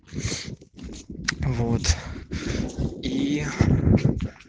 вот ии